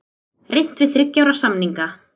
Reynt við þriggja ára samninga